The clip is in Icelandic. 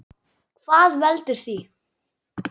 Hvað veldur því?